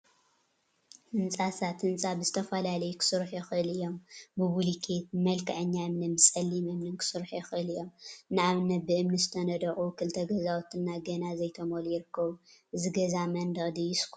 ህንፃታት ህንፃ ብዝተፈላለዩ ክስርሑ ይክእሉ እዮም፡፡ ብቡሉኬት፣ ብመልክዕኛ እምኒን ብፀሊም እምኒን ክስርሑ ይክእሉ እዮም፡፡ ንአብነት ብእምኒ ዝተነደቁ ክልተ ገዛውቲ ገና ዘይተመልኡ ይርከቡ፡፡ እዚ ገዛ መንድቅ ድዩስ ኳና?